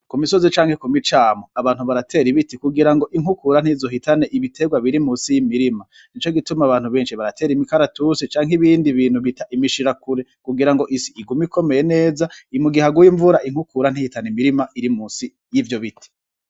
Ku misozi canke ku micamo abantu baratera ibiti kugira ngo inkukura ntizohitane ibiterwa biri munsi y’imirima , nico gituma abantu benshi baratera imikaratusi canke ibindi bintu bita imishirakure kugira ngo isi igume ikomeye neza mu gihe haguye imvura inkukura ntihitane imvura iri musi y’ivyo biti.